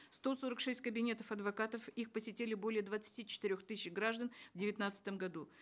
сто сорок шесть кабинетов адвокатов их посетили более двадцати четырех тысяч граждан в девятнадцатом году